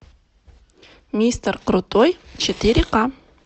мистер крутой четыре ка